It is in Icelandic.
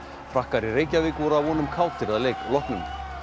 frakkar í Reykjavík voru að vonum kátir að leik loknum